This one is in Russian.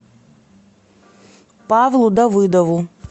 павлу давыдову